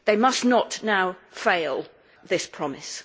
They must not now fail this promise.